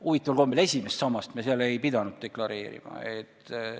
Huvitaval kombel me esimest sammast ei pidanud seal deklareerima.